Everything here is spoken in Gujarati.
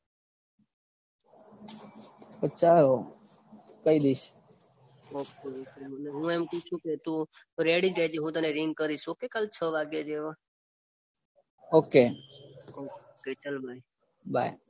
અછા કઈ દઈશ હું એમ પૂછું કે તું રેડી જ રેજે હું તને રીગ કરીશ ઓકે છ વાગ્યા જેવા ઓકે ઓકે ચલ બાય